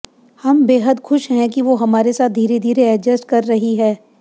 हम बेहद खुश हैं कि वो हमारे साथ धीरे धीरे एडजस्ट कर रही है